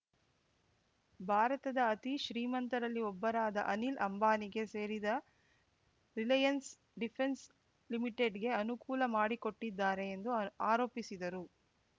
ಭಾರತದ ಅತೀ ಶ್ರೀಮಂತರಲ್ಲಿ ಒಬ್ಬರಾದ ಅನಿಲ್‌ ಅಂಬಾನಿಗೆ ಸೇರಿದ ರಿಲಯನ್ಸ್‌ ಡಿಫೆನ್ಸ್‌ ಲಿಮಿಟೆಡ್ಗೆ ಅನುಕೂಲ ಮಾಡಿಕೊಟ್ಟಿದ್ದಾರೆ ಎಂದು ಆರ್ ಆರೋಪಿಸಿದರು